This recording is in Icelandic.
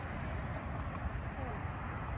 Nú nefndi hann konuna